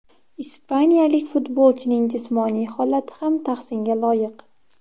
Ispaniyalik futbolchining jismoniy holati ham tahsinga loyiq.